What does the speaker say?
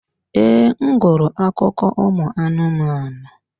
Ee, m gụrụ akụkọ anụmanụ.